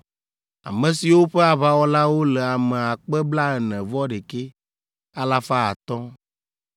ame siwo ƒe aʋawɔlawo le ame akpe blaene-vɔ-ɖekɛ, alafa atɔ̃ (41,500).